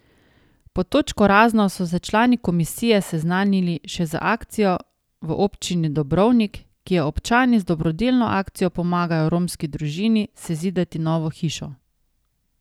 Pod točko razno so se člani komisije seznanili še z akcijo v občini Dobrovnik, kjer občani z dobrodelno akcijo pomagajo romski družini sezidati novo hišo.